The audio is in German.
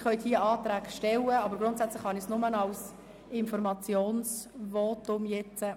Sie können hier Anträge stellen, aber grundsätzlich kann ich nur als Informationsvotum annehmen.